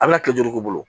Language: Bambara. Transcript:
A bɛna kile duuru k'u bolo